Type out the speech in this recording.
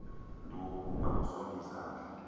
nduku akusongi zandla